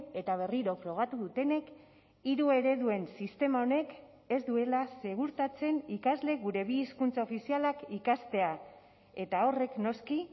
eta berriro frogatu dutenek hiru ereduen sistema honek ez duela segurtatzen ikasleek gure bi hizkuntza ofizialak ikastea eta horrek noski